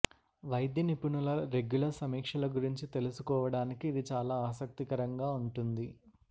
వైద్య నిపుణుల రెగ్యులర్ సమీక్షల గురించి తెలుసుకోవడానికి ఇది చాలా ఆసక్తికరంగా ఉంటుంది